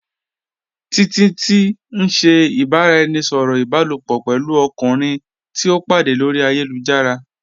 Títití n ṣẹ̀ ìbàráẹnisọ̀rọ̀ ìbàlòpọ̀ pẹ̀lú ọ̀kùnrin tìí o pàdé lórí ayélujára.